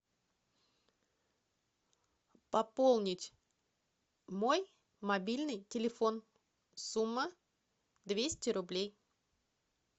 пополнить мой мобильный телефон сумма двести рублей